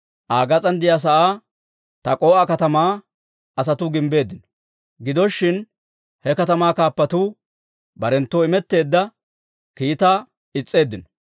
Aa gas'aan de'iyaa sa'aa Tak'o"a katamaa asatuu gimbbeeddino; gido shin, he katamaa kaappatuu barenttoo imetteedda kiitaa is's'eeddino.